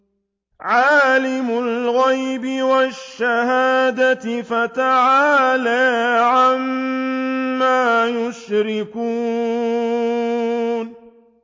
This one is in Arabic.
عَالِمِ الْغَيْبِ وَالشَّهَادَةِ فَتَعَالَىٰ عَمَّا يُشْرِكُونَ